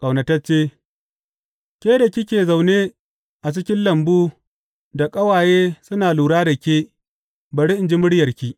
Ƙaunatacce Ke da kike zaune a cikin lambu da ƙawaye suna lura da ke, bari in ji muryarki!